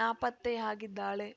ನಾಪತ್ತೆಯಾಗಿದ್ದಾಳೆ